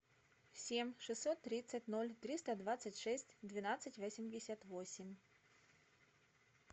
семь шестьсот тридцать ноль триста двадцать шесть двенадцать восемьдесят восемь